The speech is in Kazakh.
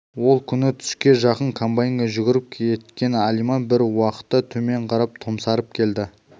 ол күні түске жақын комбайнге жүгіріп кеткен алиман бір уақытта төмен қарап томсарып келді